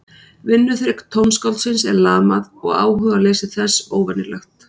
Vinnuþrek tónskáldsins er lamað og áhugaleysi þess óvenjulegt.